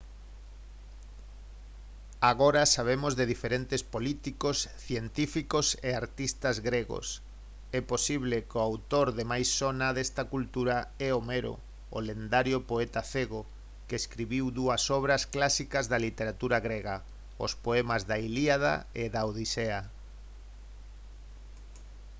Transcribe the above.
agora sabemos de diferentes políticos científicos e artistas gregos é posible que o autor de máis sona desta cultura é homero o lendario poeta cego que escribiu dúas obras clásicas da literatura grega os poemas da ilíada e a odisea